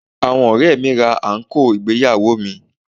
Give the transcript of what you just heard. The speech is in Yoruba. Àwọn ọ̀rẹ́ẹ̀ mi ra àǹkóò ìgbéyàwó mi.